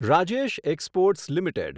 Rajesh exports limited